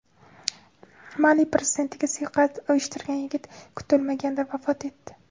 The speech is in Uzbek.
Mali Prezidentiga suiqasd uyushtirgan yigit kutilmaganda vafot etdi.